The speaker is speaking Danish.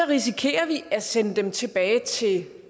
risikerer vi at sende dem tilbage til